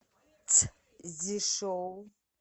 цзишоу